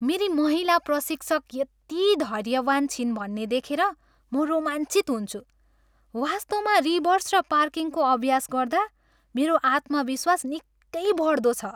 मेरी महिला प्रशिक्षक यति धैर्यवान छिन् भन्ने देखेर म रोमाञ्चित हुन्छु, वास्तवमा रिभर्स र पार्किङको अभ्यास गर्दा मेरो आत्मविश्वास निकै बढ्दो छ।